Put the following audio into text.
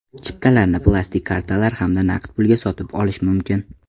Chiptalarni plastik kartalar hamda naqd pulga sotib olish mumkin.